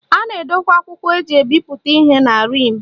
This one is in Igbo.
A na-edokwa akwụkwọ eji ebipụta ihe na rim